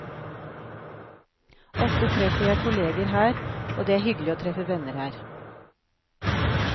Ofte treffer jeg kolleger her, og det er hyggelig å treffe venner her.